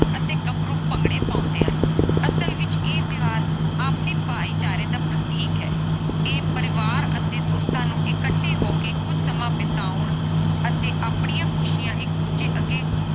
ਅਤੇ ਗਬਰੂ ਭੰਗੜੇ ਪਾਉਂਦੇ ਹਨ ਅਸਲ ਵਿਚ ਇਹ ਤਿਓਹਾਰ ਆਪਸਰੀ ਭਾਈਚਾਰੇ ਦਾ ਪ੍ਰਤੀਕ ਹੈ ਇਹ ਪਰਿਵਾਰ ਅਤੇ ਦੋਸਤਾਂ ਨੂੰ ਇਕੱਠੇ ਹੋ ਕੇ ਕੁਝ ਸਮਾਂ ਬਿਤਾਉਣ ਅਤੇ ਆਪਣੀਆਂ ਖੁਸ਼ੀਆਂ ਇਕ ਦੂਜੇ ਅੱਗੇ